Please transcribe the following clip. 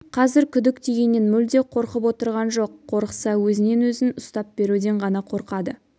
қазір күдік дегеннен мүлде қорқып отырған жоқ қорықса өзінен өзін ұстап беруден ғана қорқады